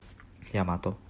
ямато